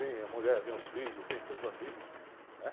Vem a mulher, vem os filhos, vem meus amigos, né?